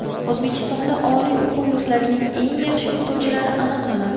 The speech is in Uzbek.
O‘zbekistonda oliy o‘quv yurtlarining eng yaxshi o‘qituvchilari aniqlanadi.